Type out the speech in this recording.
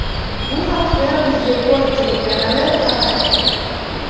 Bu haqda UzReport telekanali xabar berdi .